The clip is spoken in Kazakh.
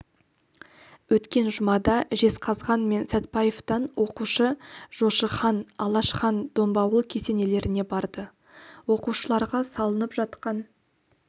өткен жұмада жезқазған мен сәтпаевтан оқушы жошы хан алаш хан домбауыл кесенелеріне барды оқушыларға салынып жатқан